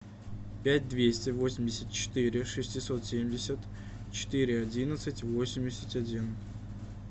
пять двести восемьдесят четыре шестьсот семьдесят четыре одиннадцать восемьдесят один